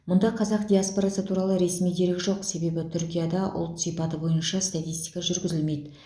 мұнда қазақ диаспорасы туралы ресми дерек жоқ себебі түркияда ұлт сипаты бойынша статистика жүргізілмейді